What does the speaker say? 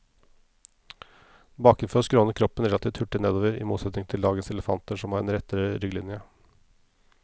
Bakenfor skrånet kroppen relativt hurtig nedover, i motsetning til dagens elefanter som har en rettere rygglinje.